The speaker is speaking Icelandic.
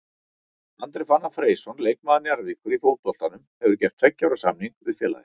Andri Fannar Freysson leikmaður Njarðvíkur í fótboltanum hefur gert tveggja ára samning við félagið.